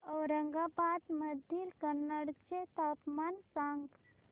औरंगाबाद मधील कन्नड चे तापमान सांग